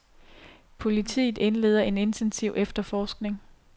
Politiet indleder en intensiv efterforskning.